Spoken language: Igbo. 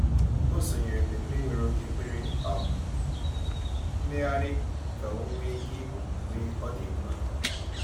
O sonyeere mmemme nwere oge kwere um mmegharị ka o nwe ike ịpụ mgbe ọ dị mkpa.